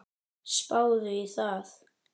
Spáðu í það.